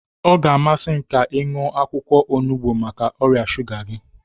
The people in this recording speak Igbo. Ọ ga-amasị m ka ị ṅụọ akwụkwọ onugbu maka ọrịa shuga gị.